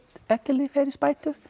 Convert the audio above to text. ellilífeyrisbætur